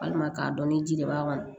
Walima k'a dɔn ni ji de b'a kɔnɔ